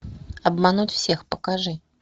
обмануть всех покажи